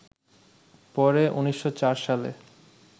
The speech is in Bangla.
পরে ১৯০৪ সালে